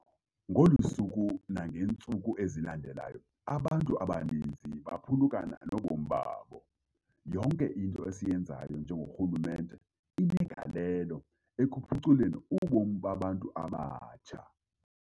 Ngolu suku nangeentsuku ezilandelayo, abantu abaninzi baphulukana nobomi babo. Yonke into esiyenzayo njengorhulumente inegalelo ekuphuculeni ubomi babantu abatsha.